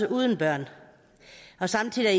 uden børn samtidig er